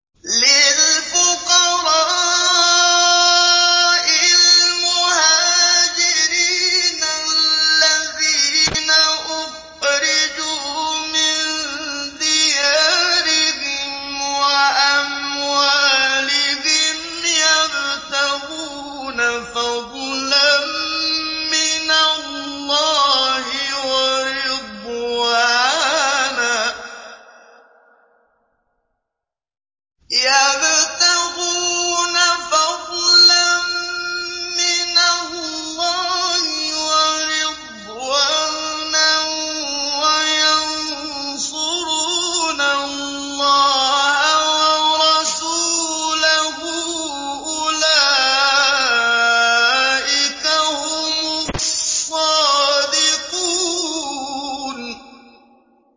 لِلْفُقَرَاءِ الْمُهَاجِرِينَ الَّذِينَ أُخْرِجُوا مِن دِيَارِهِمْ وَأَمْوَالِهِمْ يَبْتَغُونَ فَضْلًا مِّنَ اللَّهِ وَرِضْوَانًا وَيَنصُرُونَ اللَّهَ وَرَسُولَهُ ۚ أُولَٰئِكَ هُمُ الصَّادِقُونَ